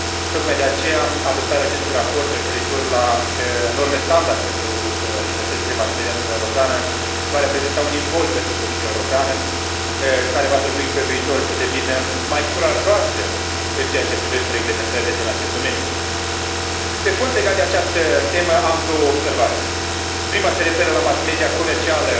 Tocmai de aceea adoptarea acestui raport referitor la norme standard pentru libertățile mass media în Uniunea Europeană va reprezenta un imbold pentru Comisia Europeană, care va trebui pe viitor să devină mai curajoasă în ceea ce privește reglementările din acest domeniu. Pe fond, legat de această temă, am două observații prima se referă la mass media comercială,